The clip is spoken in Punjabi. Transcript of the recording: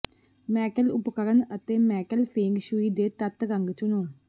ਮੈਟਲ ਉਪਕਰਣ ਅਤੇ ਮੈਟਲ ਫੇਂਗ ਸ਼ੂਈ ਦੇ ਤੱਤ ਰੰਗ ਚੁਣੋ